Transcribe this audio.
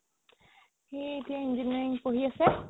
সি এতিয়া engineering পঢ়ি আছে